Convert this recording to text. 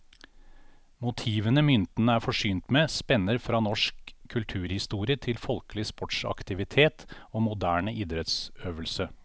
Motivene myntene er forsynt med, spenner fra norsk kulturhistorie til folkelig sportsaktivitet og moderne idrettsøvelse.